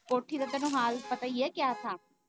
ਕੋਠੀ ਦਾ ਤੈਨੂੰ ਹਾਲ ਪਤਾ ਹੀ ਐ ਕਿਆਂ ਥਾਂ।